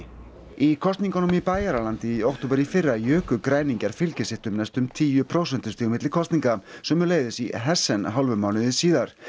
í kosningunum í Bæjaralandi í október í fyrra juku græningjar fylgi sitt um næstum tíu prósentustig milli kosninga sömuleiðis í hálfum mánuði síðar